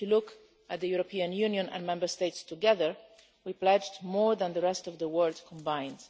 If you look at the European Union and Member States together, we pledged more than the rest of the world combined.